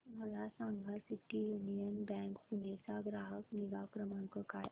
मला सांगा city union bank Pune चा ग्राहक निगा क्रमांक काय आहे